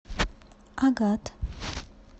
агат